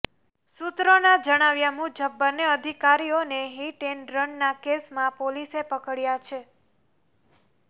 સૂત્રોના જણાવ્યા મુજબ બંને અધિકારીઓને હિટ એન્ડ રનના કેસમાં પોલીસે પકડ્યા છે